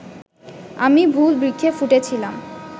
আমি ভুল বৃক্ষে ফুটেছিলাম